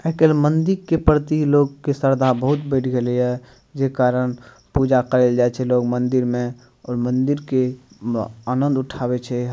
आय काएल मंदिर के प्रति लोग के श्रद्धा बहुत बढ़ गेले ये जे कारण पूजा करे ले लोग जाय छै मंदिर में और मंदिर में म आनंद उठावे छै।